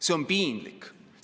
See on piinlik!